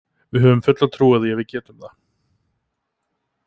Við höfum fulla trú á því að við getum það.